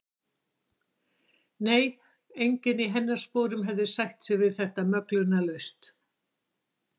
Nei, enginn í hennar sporum hefði sætt sig við þetta möglunarlaust.